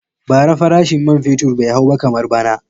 Bara farashin man fetur bai hau ba kamar bana.